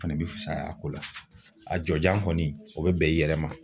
Fɛnɛ bi fisaya a ko la a jɔjan kɔni o be bɛn i yɛrɛ ma